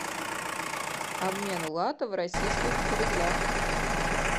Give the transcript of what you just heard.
обмен лата в российских рублях